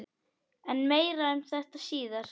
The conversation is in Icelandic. En meira um þetta síðar.